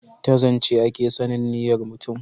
ta zance a ke sanin niyyar mutum